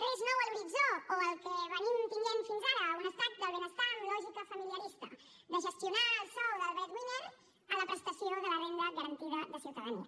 res nou a l’horitzó o el que venim tenint fins ara un estat del benestar amb lògica familiarista de gestionar el sou del breadwinner en la prestació de la renda garantida de ciutadania